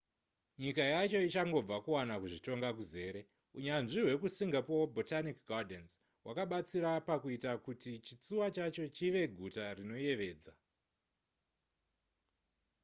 nyika yacho ichangobva kuwana kuzvitonga kuzere unyanzvi hwekusingapore botanic gardens' hwakabatsira pakuita kuti chitsuwa chacho chive guta rinoyevedza